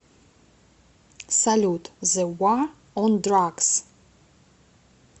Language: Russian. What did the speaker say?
салют зе ва он драгс